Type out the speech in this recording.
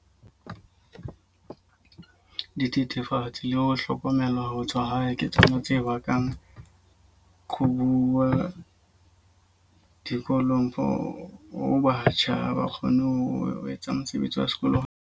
Dithethefatsi le ho hlokomela ho tswa hae ke tsona tse bakang qhobuwa dikolong for ho batjha. Ha ba kgone ho etsa mosebetsi wa sekolo.